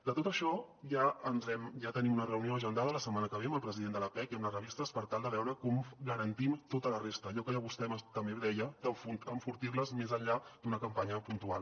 de tot això ja tenim una reunió agendada la setmana que ve amb el president de l’appec i amb les revistes per tal de veure com garantim tota la resta allò que vostè també deia d’enfortir les més enllà d’una campanya puntual